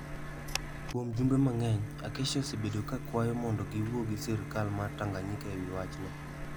Kuom jumbe mang'eny, Acacia osebedo ka kwayo mondo giwuo gi sirkal mar Tanganyika e wi wachno.